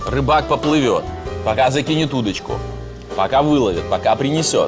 рыбак поплывёт пока закинет удочку пока выловит пока принесёт